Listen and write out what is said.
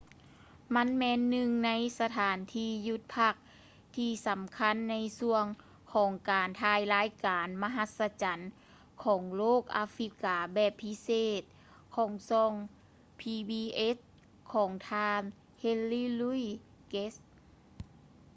ມັນແມ່ນໜຶ່ງໃນສະຖານທີ່ຢຸດພັກທີ່ສຳຄັນ ໃນຊ່ວງຂອງການຖ່າຍລາຍການ ມະຫັດສະຈັນຂອງໂລກອາຟຼິກກາແບບພິເສດ ຂອງຊ່ອງ ພີບີເອສ໌ pbs ຂອງ ທ່ານ ເຮນຣີ ລຸຍສ໌ ເກດສ໌ henry louis gates